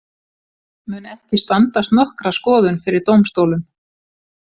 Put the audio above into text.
Mun ekki standast nokkra skoðun fyrir dómstólum.